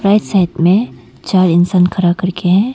Right side में चार इंसान खड़ा कर के है।